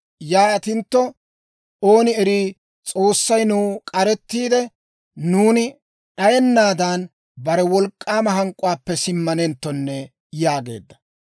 Yaatintto ooni erii, S'oossay nuw k'arettiide, nuuni d'ayennaadan, bare wolk'k'aama hank'k'uwaappe simmanenttonne» yaageedda.